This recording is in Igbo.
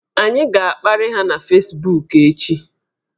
Anyị ga-akparị ha na fesbuku echi